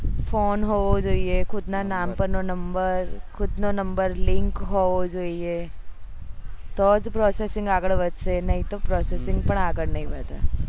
phone હોવો જોઈએ ખુદ ના નામ પર નો number ખુદ નો number link હોવો જોઈએ તો જ processing આગળ વધશે નહી તો processing પણ આગળ નહી વધે